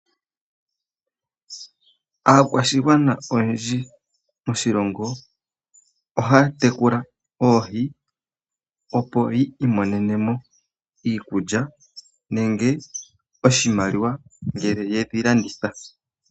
Aakwashigwana oyendji moshilongo ohaya tekula oohi opo yi imonenemo iikulya nenge oshimaliwa ngele yedhi landitha.